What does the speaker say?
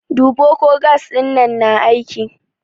Duba ko gas ɗin na aiki!